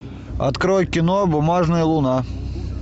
открой кино бумажная луна